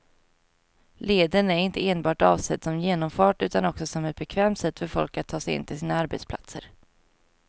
Leden är inte enbart avsedd som genomfart utan också som ett bekvämt sätt för folk att ta sig in till sina arbetsplatser.